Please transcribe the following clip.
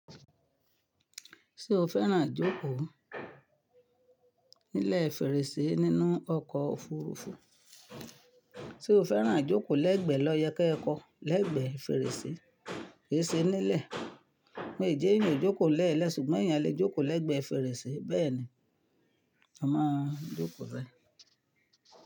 Ṣé o fẹ́ràn jókòó nílẹ̀ fèrèsé nínú ọkọ̀ òfurufú? Sé o fẹ́ràn jókòó lẹ́gbẹ́ lọ yẹ kí ẹ kọ́ lẹ́gbẹ́ fèrèsé, kè se nílẹ̀. Wo n jẹ́ yan jókòó lẹ́ẹ̀lẹ́ ṣùgbọ́n èèyàn lè jókòó lẹ́gbẹ́ fèrèsé bẹ́ẹ̀ni. Ọmọ jókòó rẹ.